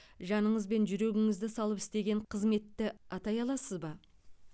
жаныңыз бен жүрегіңізді салып істеген қызметті атай аласыз ба